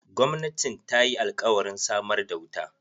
Gwamnatin ta yi alkawarin samar da wuta.